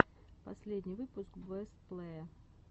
последний выпуск бэст плэе